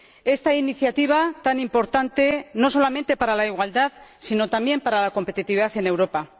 Esta iniciativa tan importante, no solamente para la igualdad, sino también para la competitividad en Europa.